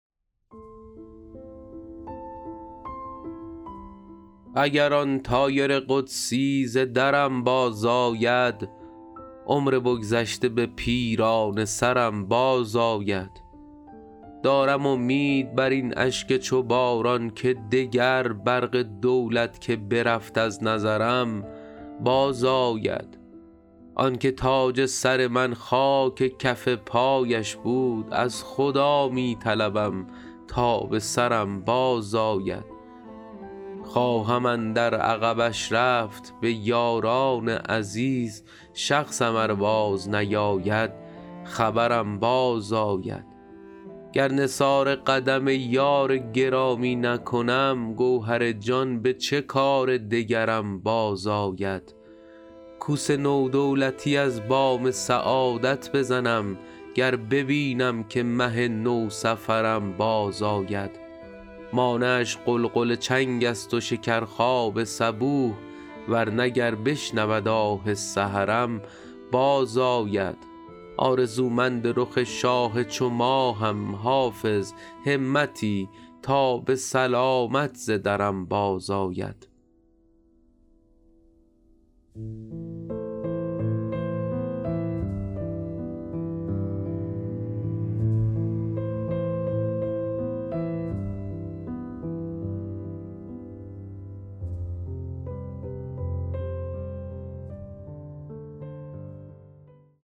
اگر آن طایر قدسی ز درم بازآید عمر بگذشته به پیرانه سرم بازآید دارم امید بر این اشک چو باران که دگر برق دولت که برفت از نظرم بازآید آن که تاج سر من خاک کف پایش بود از خدا می طلبم تا به سرم بازآید خواهم اندر عقبش رفت به یاران عزیز شخصم ار بازنیاید خبرم بازآید گر نثار قدم یار گرامی نکنم گوهر جان به چه کار دگرم بازآید کوس نو دولتی از بام سعادت بزنم گر ببینم که مه نوسفرم بازآید مانعش غلغل چنگ است و شکرخواب صبوح ور نه گر بشنود آه سحرم بازآید آرزومند رخ شاه چو ماهم حافظ همتی تا به سلامت ز درم بازآید